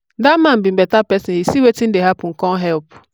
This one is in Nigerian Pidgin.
dat man be beta person he see wetin dey happen come help.